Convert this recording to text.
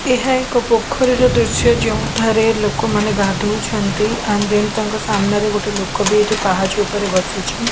ଏହା ଏକ ପୋଖରୀର ଦୃଶ୍ୟ ଯେଉଁଠାରେ ଲୋକମାନେ ଗାଧଉଛନ୍ତି ଆଣ୍ଡ ଦେନ ତାଙ୍କ ସାମ୍ନାରେ ଗୋଟେ ଲୋକବି ଏଠି ପାହାଚ ଉପରେ ବସିଛି।